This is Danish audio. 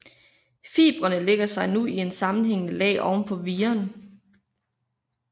Fibrene lægger sig nu i et sammenhængende lag oven på viren